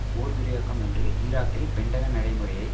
போர் விரிவாக்கம் என்று ஈராக்கில் பென்டகன் நடைமுறையை